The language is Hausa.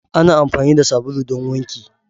Ana amfani da sabulu don wanki.